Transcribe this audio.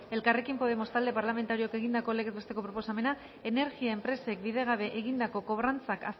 elkarrekin podemos talde parlamentarioak egindako legez besteko proposamena energia enpresek bidegabe egindako kobrantzak